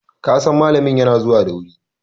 kasan malamin yana zuwa da wuri!